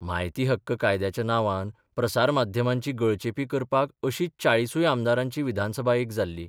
म्हायती हक्क कायद्याच्या नांवान प्रसार माध्यमांची गळचेपी करपाक अशीच चाळिसूय आमदारांची विधानसभा एक जाल्ली.